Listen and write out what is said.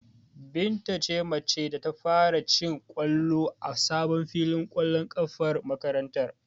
Binta ce mace ta farko da ta ci ƙwallo a sabon filin ƙwallon ƙafar makarantar.